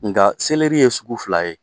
Nka ye sugu fila ye.